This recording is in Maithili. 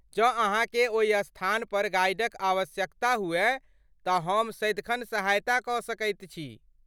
जँ अहाँकेँ ओहि स्थानपर गाइडक आवश्यकता हुअय तँ हम सदिखन सहायता कऽ सकैत छी।